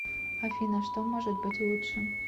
афина что может быть лучше